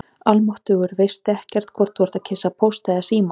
Almáttugur, þá veistu ekkert hvort þú ert að kyssa Póst eða Síma